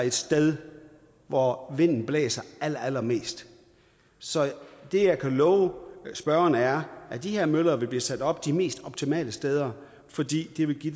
et sted hvor vinden blæser allerallermest så det jeg kan love spørgeren er at de her møller vil blive sat op på de mest optimale steder fordi det vil give